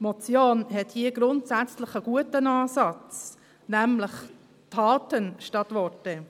Die Motion hat hier grundsätzlich einen guten Ansatz, nämlich Taten statt Worte.